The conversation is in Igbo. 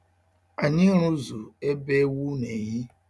Anyị rụzụ ebe ewu n'ehi.